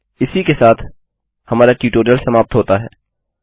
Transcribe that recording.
इसी के साथ हमारा ट्यूटोरियल समाप्त होता है